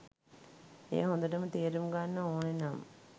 එය හොදටම තේරුම් ගන්න ඕනෙනම්